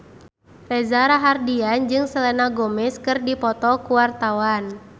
Reza Rahardian jeung Selena Gomez keur dipoto ku wartawan